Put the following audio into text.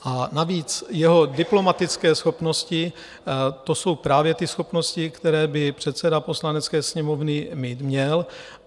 A navíc jeho diplomatické schopnosti, to jsou právě ty schopnosti, které by předseda Poslanecké sněmovny mít měl.